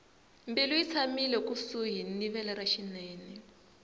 mbilu yi tshamile ekusuhi ni vele ra xinene